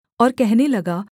और कहने लगा